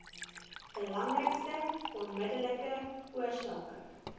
belangrikste onmiddellike oorsake